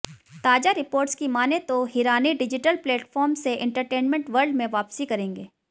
ताजा रिपोर्ट्स की मानें तो हिरानी डिजिटल प्लेटफॉर्म से एंटरटेनमेंट वर्ल्ड में वापसी करेंगे